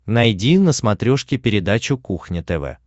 найди на смотрешке передачу кухня тв